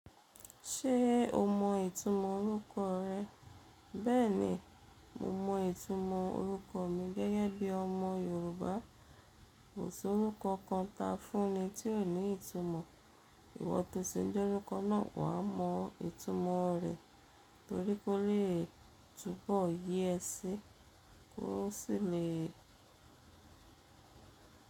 Ṣé o mọ ìtumọ̀ orúkọ rẹ? Bẹ́ẹ̀ni, mo mọ ìtumọ̀ orúkọ mi. Gẹ́gẹ́ bí ọmọ Yorùbá, kò sí orúkọ kan tá fún mi tí ò ní ìtumọ̀. Ìwọ tó se jẹ́ orúkọ náà, wà á mọ ìtumọ rẹ̀ torí kó lè túbọ̀ yé ẹ sí i kó sì le.